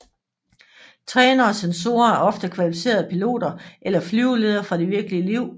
Trænere og censorer er ofte kvalificerede piloter eller flyveledere fra det virkelige liv